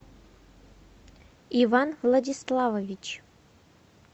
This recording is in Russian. иван владиславович